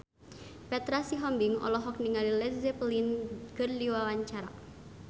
Petra Sihombing olohok ningali Led Zeppelin keur diwawancara